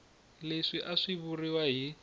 leswi a swi vuriwa hi